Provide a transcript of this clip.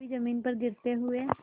कभी जमीन पर गिरते हुए